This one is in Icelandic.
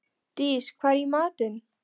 Dís, hvað er í matinn?